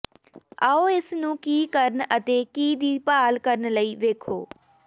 ਆਓ ਇਸ ਨੂੰ ਕੀ ਕਰਨ ਅਤੇ ਕੀ ਦੀ ਭਾਲ ਕਰਨ ਲਈ ਵੇਖੋ